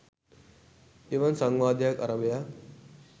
එවන් සංවාදයක් අරභයා